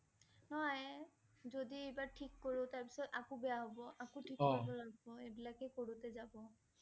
নহ~য়। যদি এইবাৰ ঠিক কৰি, তাৰ পিছত আকৌ বেয়া হব, আকৌ ঠিক কৰিব লাগিব এইবিলাকে কৰোঁতে যাব।